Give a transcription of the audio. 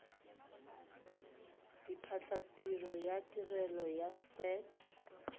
diphatlatiro ya tirelo ya set